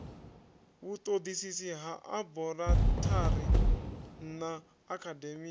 vhutodisisi ha aborathari na akhademia